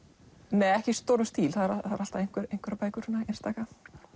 nei ekki í stórum stíl en það eru alltaf einstaka